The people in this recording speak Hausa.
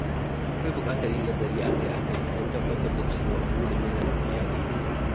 Akwai bukatar yin nazari akai-akai don tabbatar da cewa burin yana tafiya daidai.